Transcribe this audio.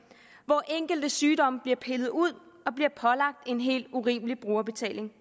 hvor enkelte sygdomme bliver pillet ud og pålagt en helt urimelig brugerbetaling